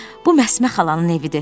Bu Məsmə xalanın evidir.